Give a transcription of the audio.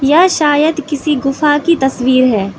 यह शायद किसी गुफा की तस्वीर है।